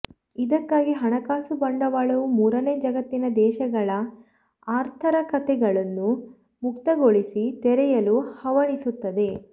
ಇದಕ್ಕಾಗಿ ಹಣಕಾಸು ಬಂಡವಾಳವು ಮೂರನೇ ಜಗತ್ತಿನ ದೇಶಗಳ ಆಥರ್ಿಕತೆಗಳನ್ನು ಮುಕ್ತಗೊಳಿಸಿ ತೆರೆಯಲು ಹವಣಿಸುತ್ತದೆ